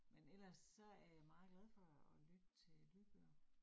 Men ellers så er jeg meget glad for at lytte til lydbøger